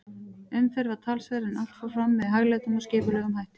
Umferð var talsverð, en allt fór fram með hæglátum og skipulegum hætti.